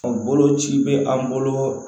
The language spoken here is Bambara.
Bolo ci bɛ an bolo